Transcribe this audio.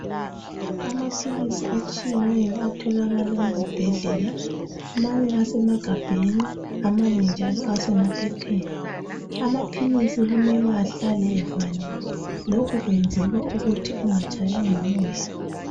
Amaphilisi atshiyeneyo atholakala ezibhedlela amanye asemagabheni amanye njalo asemaphepheni. Amaphilisi kumele ahlale avaliwe, lokhu kwenzela ukuthi engatshaywa ngumoya.